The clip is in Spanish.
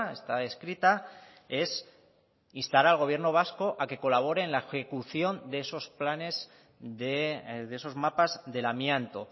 está escrita es instar al gobierno vasco a que colabore en la ejecución de esos planes de esos mapas del amianto